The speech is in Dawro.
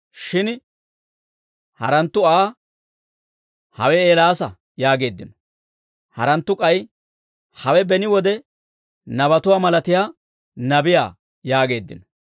Shin haranttu Aa, «Hawe Eelaasa» yaageeddino. Haranttu k'ay, «Hawe beni wode nabatuwaa malatiyaa nabiyaa» yaageeddino.